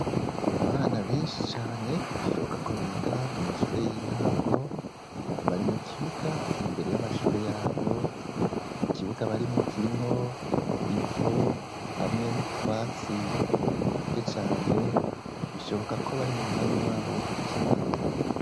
Abana benshi cane, bishoboka ko biga mu mashure y'intango. Bari mu kibuga imbere y'amashure yabo. Ikibuga barimwo kirimwo ivu, hamwe n'utwatsi duke cane. Bishoboka ko bari mu mwanya wabo wo gukina.